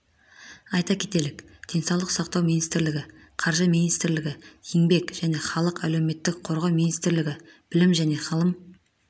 айта кетелік денсаулық сақтау министрлігі қаржы министрлігі еңбек және халықты әлеуметтік қорғау министрлігі білім және ғылым